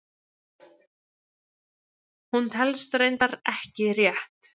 Hún telst reyndar ekki rétt!